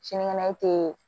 Sinikɛnɛ i tɛ